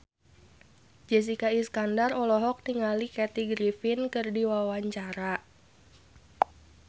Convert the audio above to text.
Jessica Iskandar olohok ningali Kathy Griffin keur diwawancara